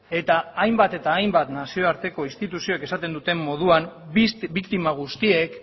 eta hainbat eta hainbat nazioarteko instituzioek esaten duten moduan biktima guztiek